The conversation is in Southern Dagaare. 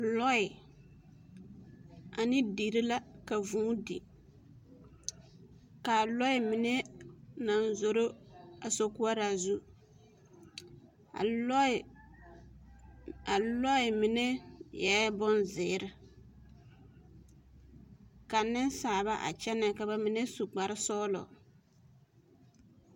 Lɔɛ ane deri la ka vūū di ka a lɔɛ mine na zoro a sokoɔraa zu a lɔɛ mine eɛ bonziiri ka nensaaba a kyɛnɛ ka ba mine su kparsɔɡelɔ.